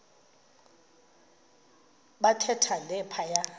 bathe thande phaya